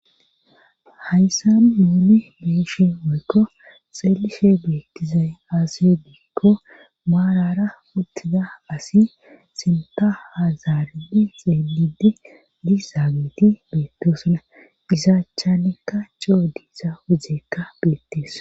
hayssa nuuni beeyishe woykko xeelishe beettizay aase diikko maarara uttida asi sinta hazaaridi xeelidi di zaageti beettosana isaachanikka cio diisa ujekka beettees